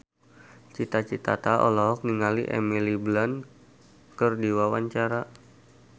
Cita Citata olohok ningali Emily Blunt keur diwawancara